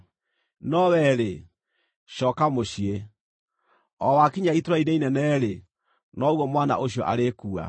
“No wee-rĩ, cooka mũciĩ. O wakinya itũũra-inĩ inene-rĩ, noguo mwana ũcio arĩkua.